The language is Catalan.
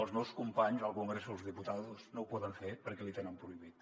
els meus companys al congreso de los diputados no ho poden fer perquè els hi tenen prohibit